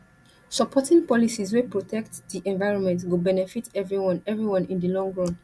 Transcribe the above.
supporting policies wey protect di environment go benefit everyone everyone in di long run